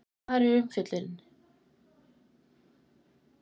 Hvar er umfjöllunin?